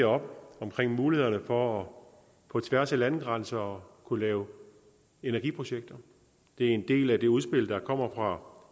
om mulighederne for på tværs af landegrænser at kunne lave energiprojekter det er en del af det udspil der kommer fra